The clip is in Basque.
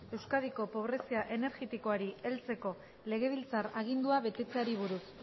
euskadiko pobrezia energetikoari heltzeko legebiltzar agindua betetzeari buruz